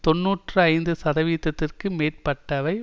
தொன்னூற்று ஐந்து சதவீத்ததிற்கு மேற்பட்டவை